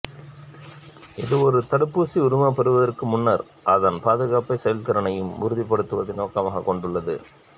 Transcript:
இது ஒரு தடுப்பூசிக்கு உரிமம் பெறுவதற்கு முன்னர் அதன் பாதுகாப்பையும் செயல்திறனையும் உறுதிப்படுத்துவதை நோக்கமாகக் கொண்டுள்ளது